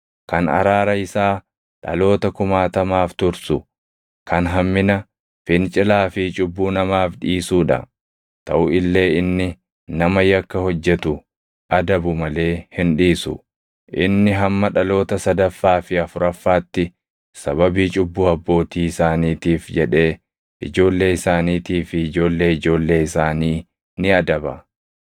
kan araara isaa dhaloota kumaatamaaf tursu, kan hammina, fincilaa fi cubbuu namaaf dhiisuu dha. Taʼu illee inni nama yakka hojjetu adabu malee hin dhiisu; inni hamma dhaloota sadaffaa fi afuraffaatti sababii cubbuu abbootii isaaniitiif jedhee ijoollee isaaniitii fi ijoollee ijoollee isaanii ni adaba.”